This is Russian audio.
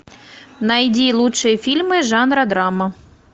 найди лучшие фильмы жанра драма